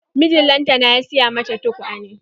Mijin lantana ya siya mata tukwane.